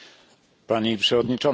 Pani Przewodnicząca!